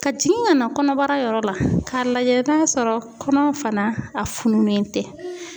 Ka jigin kana kɔnɔbara yɔrɔ la k'a lajɛ n'a sɔrɔ kɔnɔ fana a fununen tɛ.